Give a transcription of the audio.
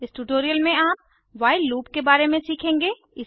इस ट्यूटोरियल में आप व्हाइल लूप के बारे में सीखेंगे